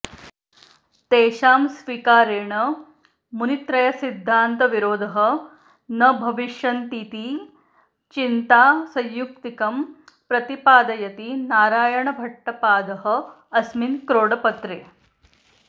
तेषां स्वीकारेण मुनित्रयसिद्धान्तविरोधः न भविष्यन्तीति चिन्ता सयुक्तिकं प्रतिपादयति नारायणभट्टपादः अस्मिन् क्रोडपत्रे